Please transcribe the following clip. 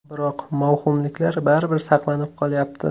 Biroq mavhumliklar baribir saqlanib qolyapti.